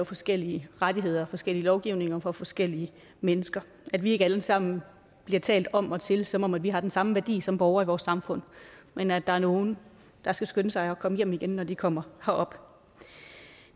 forskellige rettigheder og forskellige lovgivninger for forskellige mennesker at vi ikke alle sammen bliver talt om og til som om vi har den samme værdi som borgere i vores samfund men at der er nogle der skal skynde sig at komme hjem igen når de kommer herop